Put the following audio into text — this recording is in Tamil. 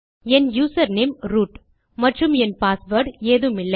என் யூசர்நேம் ரூட் மற்றும் என் பாஸ்வேர்ட் ஏதுமில்லை